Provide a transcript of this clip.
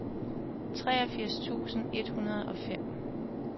treogfirs tusind et hundrede og fem